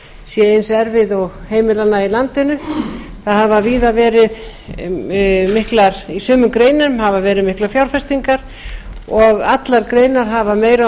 sé eins erfið og heimilanna í landinu í sumum greinum hafa verið miklar fjárfestingar og allar greinar hafa meira og